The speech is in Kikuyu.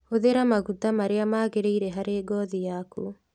Hũthĩra maguta marĩa magĩrĩire harĩ ngothi yaku